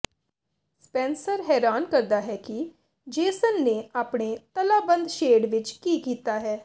Spencer ਹੈਰਾਨ ਕਰਦਾ ਹੈ ਕਿ ਜੇਸਨ ਨੇ ਆਪਣੇ ਤਾਲਾਬੰਦ ਸ਼ੇਡ ਵਿਚ ਕੀ ਕੀਤਾ ਹੈ